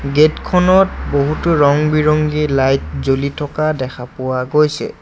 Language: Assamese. গেট খনত বহুতো ৰং-বিৰঙি লাইট জ্বলি থকা দেখা পোৱা গৈছে।